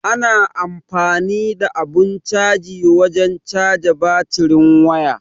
Ana amfani da abun caji wajen caja batirin waya.